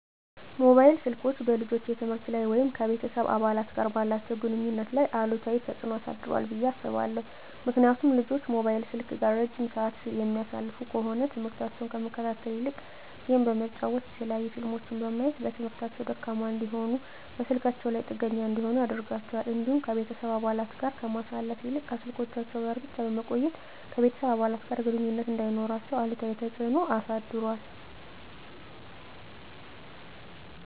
መሞባይል ስልኮች በልጆች የትምህርት ላይ ወይም ከቤተሰብ አባላት ጋር ባላቸው ግንኙነት ላይ አሉታዊ ተጽዕኖ አሳድሯል ብየ አስባለሁ። ምክንያቱም ልጆች ሞባይል ስልክ ጋር እረጅም ስዓት የሚያሳልፉ ከሆነ ትምህርሞታቸውን ከመከታተል ይልቅ ጌም በመጫወት የተለያዩ ፊልሞችን በማየት በትምህርታቸው ደካማ እንዲሆኑና በስልካቸው ላይ ጥገኛ እንዲሆኑ ያደርጋቸዋል። እንዲሁም ከቤተሰብ አባለት ጋር ከማሳለፍ ይልቅ ከስልኮቻቸው ጋር ብቻ በመቆየት ከቤተሰብ አባለት ጋር ግንኙነት እንዳይኖራቸው አሉታዊ ተፅዕኖ አሳድሯል።